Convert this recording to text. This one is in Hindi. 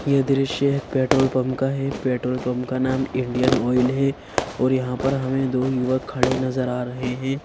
यह दृश्य पेट्रोल पंप का है पेट्रोल पंप का नाम इंडियन ऑयल है और यहाँ पर हमें दो युवक खड़े नजर आ रहे हैं।